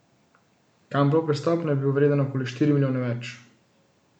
Kamplov prestop naj bi bil vreden okoli štiri milijone več.